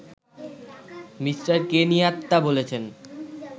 Me. Kenyatta বলেছেন